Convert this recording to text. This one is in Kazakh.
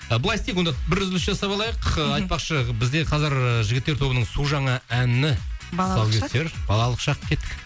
былай істейік онда бір үзіліс жасап алайық айтпақшы бізде қазір ыыы жігіттер тобының су жаңа әні балалық шақ тұсаукесер балалық шақ кеттік